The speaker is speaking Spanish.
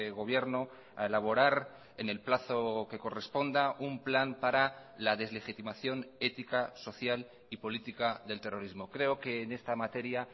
gobierno a elaborar en el plazo que corresponda un plan para la deslegitimación ética social y política del terrorismo creo que en esta materia